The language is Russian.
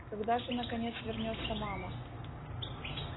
когда же наконец вернётся мама